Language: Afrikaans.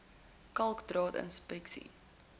kalk draad sinkplate